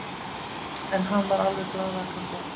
En hann var alveg glaðvakandi.